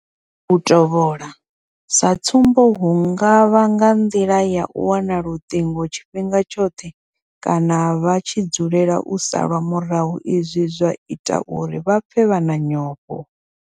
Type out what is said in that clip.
U tovhola sa tsumbo hu nga vha nga nḓila ya u wana luṱingo tshifhinga tshoṱhe kana vha tshi dzulela u salwa murahu izwi zwa ita uri vha pfe vha na nyofho.